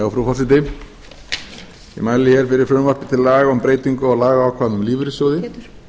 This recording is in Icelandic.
frú forseti ég mæli hér fyrir frumvarpi til laga um breyting á lagaákvæðum um lífeyrissjóði